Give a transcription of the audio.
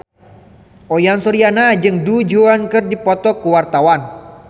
Uyan Suryana jeung Du Juan keur dipoto ku wartawan